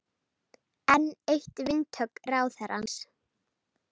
Enn eitt vindhögg ráðherrans